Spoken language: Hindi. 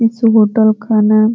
इस होटल का नाम --